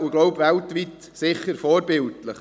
Ich glaube, es ist sicher weltweit vorbildlich.